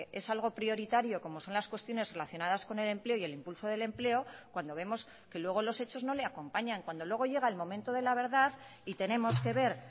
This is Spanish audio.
es algo prioritario como son las cuestiones relacionadas con el empleo y el impulso del empleo cuando vemos que luego los hechos no le acompañan cuando luego llega el momento de la verdad y tenemos que ver